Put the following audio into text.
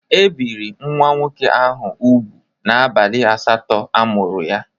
E biri nwa nwoke ahụ ubụ n'abalị asatọ a mụrụ ya.